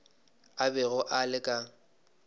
a bego a le ka